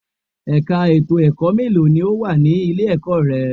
Ẹ̀ka ètò ẹ̀kọ́ mélòó ni ó wà ní ilé-ẹ̀kọ́ rẹ?